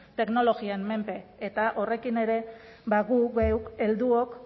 teknologien menpe eta horrekin ere guk geuk helduok